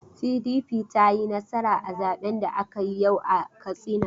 PDP ta yi nasara a zaben da aka yi yau a Katsina.